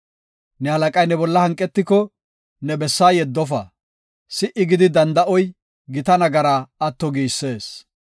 Ne halaqay ne bolla hanqetiko ne bessaa yeddofa; si77i gidi danda7oy gita nagaraa atto giisees.